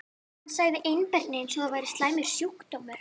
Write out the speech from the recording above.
Hann sagði einbirni eins og það væri slæmur sjúkdómur.